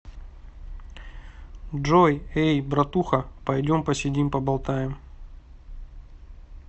джой эй братуха пойдем посидим поболтаем